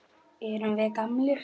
Erum við gamlir?